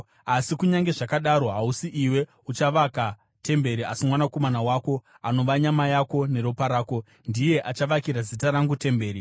Asi kunyange zvakadaro, hausi iwe uchavaka temberi asi mwanakomana wako, anova nyama yako neropa rako, ndiye achavakira Zita rangu temberi.’